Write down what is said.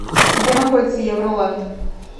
где находится евролэнд